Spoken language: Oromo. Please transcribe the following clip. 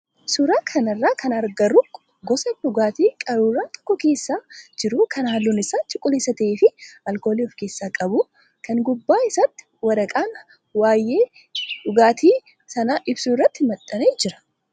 Suuraa kanarraa kan agarru gosa dhugaatii qaruuraa tokko keessa jiru kan halluun isaa cuquliisa ta'ee fi alkoolii of keessaa qabu kan gubbaa isaatti waraqaan waayee dhugaatii sanaa ibsu irratti maxxanee jirudha.